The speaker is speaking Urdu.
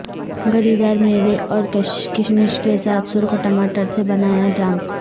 گری دار میوے اور کشمش کے ساتھ سرخ ٹماٹر سے بنایا جام